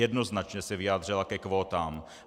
Jednoznačně se vyjádřila ke kvótám.